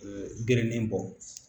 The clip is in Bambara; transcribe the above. Gerennen bɔ